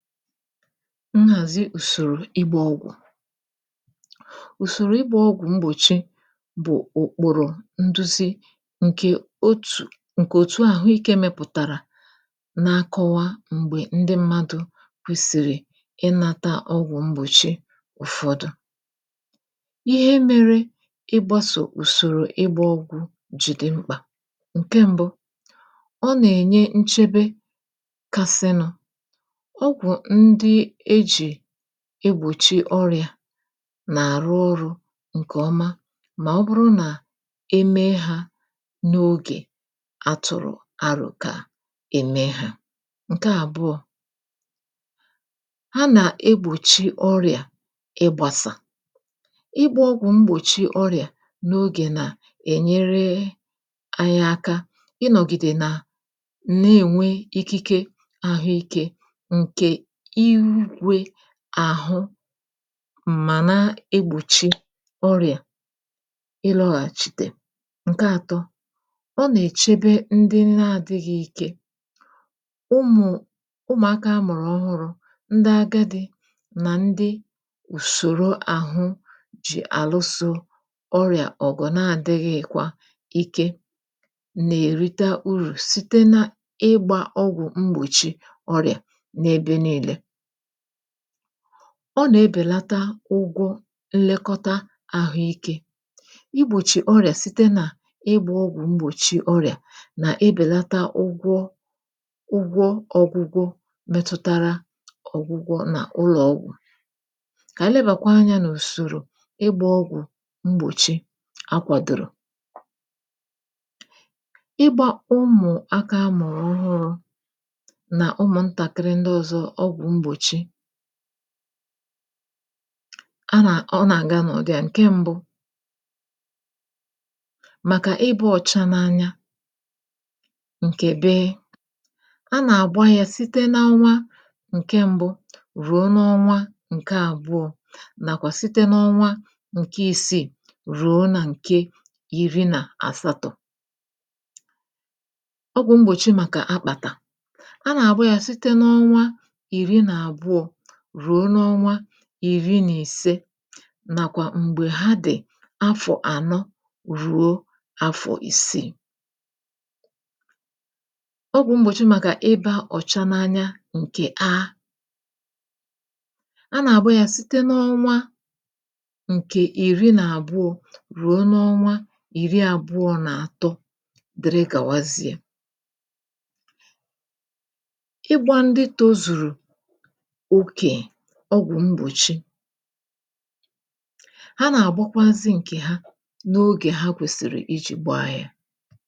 nhàzi ùsòrò ịgbā ọgwụ̀ ùsòrò ịgbā ọgwụ̀ mgbòchi bụ̀ ụ̀kpụ̀rụ̀ nduzi ǹkè otù, ǹkè òtu àhụikē mepụ̀tàrà na-akọwa m̀gbè ndị mmadụ̄ kwèsìrì ịnāta ọgwụ̀ mgbòchi ụ̀fọdụ ihe mērē ịgbāsò ùsòrò ịgbā ọgwụ̄ jì dị mkpà, ǹke m̄bụ̄ ọ nà-ènye nchebe kasịnụ̄ ọgwụ̀ ndị ejì egbòchi ọrị̀à nà-àrụ ọrụ̄ ǹkè ọma mà ọ bụrụ nà e mee hā n’ogè a tụ̀rụ̀ arò kà e mee hā, ǹke àbụọ̄ ha nà-egbòchi ọrị̀à ịgbāsà ịgbā ogwụ̀ mgbòchi ọrị̀à n’ogè nà-ènyere àyị aka ịnọ̀gìdè nà na-ènwe ikeke àhụikē ǹkè igwē àhụ m̀mà na-egbòchi orị̀à ịlọ̄hàchìtè, ǹke ātō ọ nà-èchebe ndị na-ādịghị̄ ike ụmụ̀ ụmụ̀akā a mụ̀rụ̀ ọhụrụ̄ ndị agadī nà ndị ùsòro àhụ jì àlusō ọrị̀à ọ̀gụ̀ na-adịghị̄kwa ike nà-èrita urù site n’ịgbā ọgwụ̀ mgbòchi ọrị̀à n’ebe niīle ọ nà-ebèlata ụgwọ nlekọta àhụikē igbòchì ọrị̀à site n’ịgbā ọgwụ̀ mgbòchi ọrị̀à nà-ebèlata ugwọ ụgwọ ọ̄gwụgwụ metụtara ọ̀gwụgwọ n’ụlọ̀ ọgwụ̀ kà ànyị lebàkwa anyā n’ùsòrò ịgbā ọgwụ̀ mgbòchi a kwàdòrò ịgbā ụmụ̀akā amụ̀rụ̀ ọhụrụ̄ nà ụmụ̀ntàkịrị ndị ọ̄zọ̄ ọgwụ̀ mgbòchi a nà, ọ nà-àga n’ụ̀dịà ǹke m̄bụ̄ màkà ịbā ọ̀cha n’anya ǹkè bee, a nà-àgba yā site n’ọnwa ǹke m̄bụ̄ rùo n’ọnwa ǹke àbụọ̄ nàkwà site n’ọnwa ǹke ìsiì rùo nà ǹke ìri nà àsatọ̄ ọgwụ̀ mgbòchi màkà akpàtà a nà-àgba yā site n’onwa ìri nà àbụọ̄ rùo n’ọnwa ìri nà ìse nàkwà m̀gbè ha dị̀ afọ̀ ànọ rùo afọ̀ ìsiì ọgwụ̀ mgbòchi màkà ibā ọ̀cha n’anya ǹkè a a nà-àgba yā site n’ọnwa ǹkè ìri nà àbụọ̄ rùo n’ọnwa ìri àbụọ̄ nà àtọ dị̀rị gàwazịa igbā ndị tōzùrù okè ọgwụ̀ mgbòchi ha nà-àgbakwazị ǹkè ha n’ogè ha kwèsị̀rị̀ ijì gbaa yā